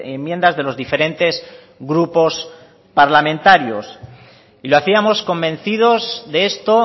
enmiendas de los diferentes grupos parlamentarios y lo hacíamos convencidos de esto